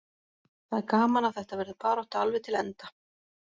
Það er gaman að þetta verður barátta alveg til enda.